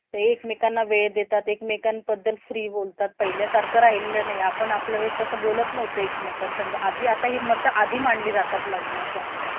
एकमेकांना वेळ देतात. एकमेकांत बद्दल free बोलतात. पहिल्या सारखा राहिला नाही. आपण आपल्या वेळेस कसं बोलत नव्हतो एकमेकांसंग आधी आता ही मत आधी मांडली जातात लग्नाच्या आधी.